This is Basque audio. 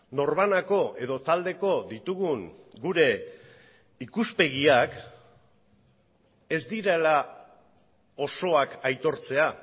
norbanako edo taldeko ditugun gure ikuspegiak ez direla osoak aitortzea